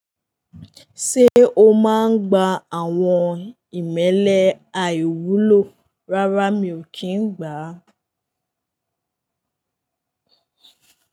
Ṣé o máa ń gba àwọn ìmẹ́lẹ́ àìwúlò? Rárá mi ò kí ń gbà á.